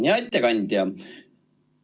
Hea ettekandja!